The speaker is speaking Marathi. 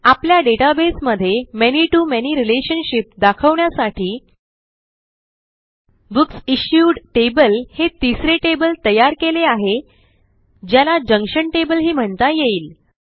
आपल्या डेटाबेस मध्ये many to मॅनी रिलेशनशिप दाखवण्यासाठी बुकसिश्यूड टेबल हे तिसरे टेबल तयार केले आहे ज्याला जंक्शन tableही म्हणता येईल